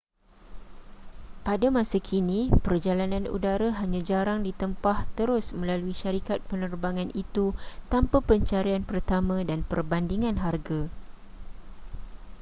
pada masa kini perjalanan udara hanya jarang ditempah terus melalui syarikat penerbangan itu tanpa pencarian pertama dan perbandingan harga